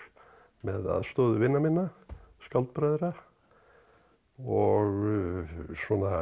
með aðstoð vina minna og svona